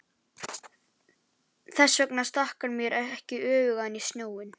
Þess vegna stakk hann mér ekki öfugum ofan í snjóinn.